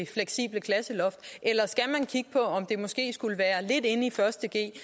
fleksible klasseloft eller skal man kigge på om det måske skulle være lidt inde i første g